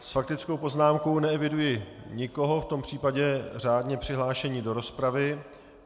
S faktickou poznámkou neeviduji nikoho, v tom případě řádně přihlášení do rozpravy.